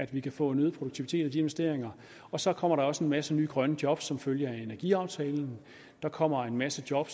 vi kan få en øget produktivitet ud af de investeringer og så kommer der også en masse nye grønne job som følge af energiaftalen der kommer en masse job